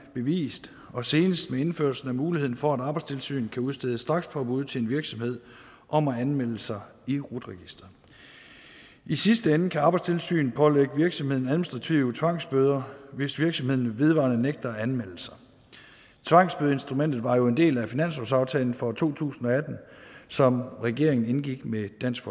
bevist og senest med indførelsen af muligheden for at arbejdstilsynet kan udstede strakspåbud til en virksomhed om at anmelde sig i rut registeret i sidste ende kan arbejdstilsynet pålægge virksomheden administrative tvangsbøder hvis virksomheden vedvarende nægter at anmelde sig tvangsbødeinstrumentet var jo en del af finanslovsaftalen for to tusind og atten som regeringen indgik med dansk